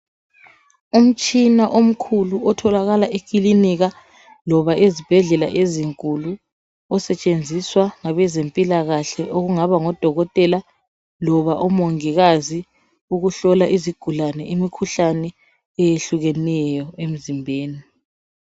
umtshina omkhulu otholakala eklinika loba ezibhedlela ezinkulu osetshenziswa ngabe zempilakhale okungaba ngodokotela loba omongikazi ukuhlola izigulane imikhuhlane ehlukileyo emzimbeni